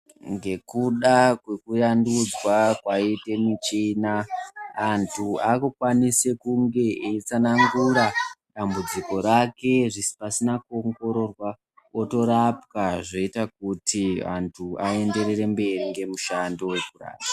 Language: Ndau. Ngekuda kwekuvandudzwa kwaitwe michina antu akufana kunga eyitsanangura dambudziko rake pasina kuongirorwa otorapwa zveyita kuti antu aenderere mberi ngomushando wokurapa.